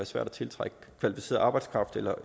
svært at tiltrække kvalificeret arbejdskraft eller